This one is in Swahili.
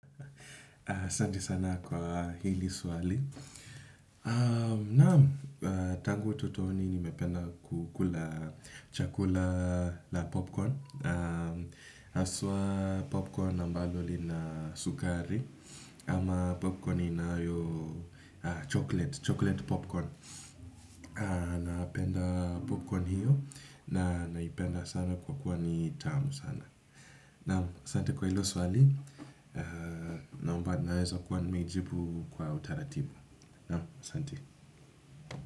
Asante sana kwa hili swali. Naam, tangu utotoni nimependa kukula chakula la popcorn haswa popcorn na mbalo lina sukari ama popcorn inayo na chocolate, chocolate popcorn. Napenda popcorn hiyo na naipenda sana kwa kuwa ni tamu sana. Naam, asante kwa hili swali. Naomba naeza kuwa nmejibu kwa utaratibu. Na, asante.